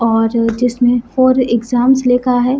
और जिसमे for exams लिखा है।